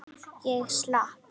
Ég slapp.